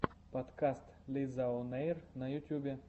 подкаст лизаонэйр на ютубе